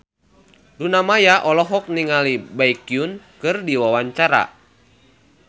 Luna Maya olohok ningali Baekhyun keur diwawancara